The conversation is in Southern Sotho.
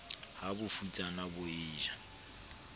ha bofutsana bo e ja